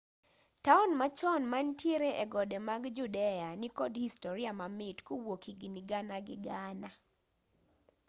taon machon mantiere egode mag judea nikod historia mamit kowuok higni gana gi gana